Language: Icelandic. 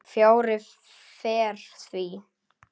Fjarri fer því.